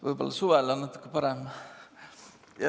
Võib-olla suvel on natuke parem.